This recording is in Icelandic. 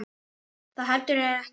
Það verður heldur ekki gert.